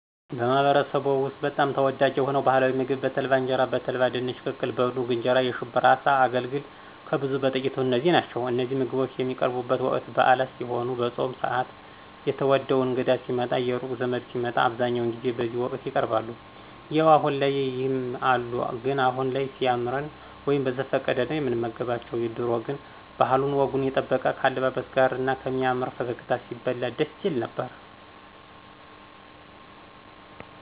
በማህበረሰብዎ ውስጥ በጣም ተወዳጅ የሆነው ባህላዊ ምግብ በተልባ እንጀራ፣ በተልባ ድንች ቅቅል፣ በኑግ እንጀራ፣ የሽብራ አሳ፣ አገልግል፣ ከብዙ በጥቂቱ እነዚህ ናቸው እነዚህ ምግቦች የሚቀርቡቡት ወቅት ብአላት ሲሄኑ፣ በፆም ስአት፣ የትዎደው እንግዳ ሲመጣ፣ የሩቅ ዘመድ ሲመጣ አብዛኛው ጊዜ በዚህ ወቅት ይቀርባሉ። ያው አሁን ላይ ይም አሉ ግን አሁን ላይ ሲያምረን ወይም በዘፈቀደ ነው ምንመገባቸው ድሮ ግን ባህሉን ወጉን የጠበቀ ከአለባበስ ጋር እና ከሚያምር ፈገግታ ሲበላ ደስ ይል ነበር።